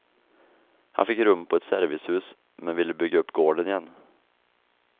Han fick rum på ett servicehus, men ville bygga upp gården igen.